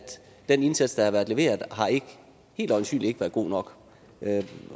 den indsats der har været leveret helt øjensynligt ikke har været god nok